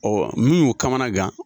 min y'u kamana gan